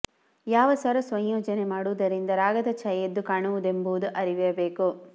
ಯಾವ ಸ್ವರ ಸಂಯೋಜನೆ ಮಾಡುವುದರಿಂದ ರಾಗದ ಛಾಯೆ ಎದ್ದು ಕಾಣುವದೆಂಬುದು ಅರಿವಿರಬೇಕು